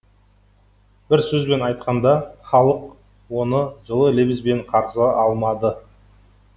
бір сөзбен айтқанда халық оны жылы лебізбен қарсы алмады